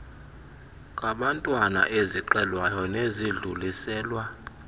kabantwana ezixelwayo nezidluliselwa